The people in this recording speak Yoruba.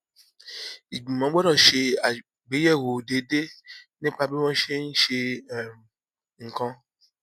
ìgbìmọ gbọdọ ṣe àgbéyẹwò déédéé nípa bí wọn ṣe ń ṣe um nǹkan